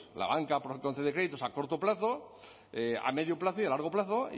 la banca puede conceder créditos a corto plazo a medio plazo y a largo plazo